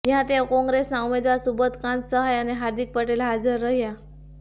જ્યાં તેઓ કોંગ્રેસના ઉમેદવાર સુબોધ કાંત સહાય અને હાર્દિક પટેલ હાજર રહ્યા